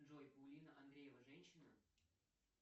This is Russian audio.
джой паулина андреева женщина